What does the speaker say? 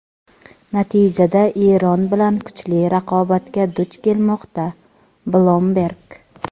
natijada Eron bilan kuchli raqobatga duch kelmoqda – "Bloomberg".